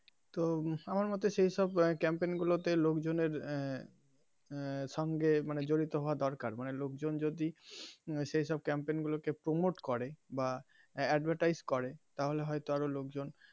তো আমার মোতে সেই সব campaign গুলোতে লোকজন এর আহ সঙ্গে মানে জড়িত হওয়া দরকার মানে লোকজন যদি সেই সব campaign গুলো কে promote করে বা advertise করে তাহলে হয় তো আরো লোকজন.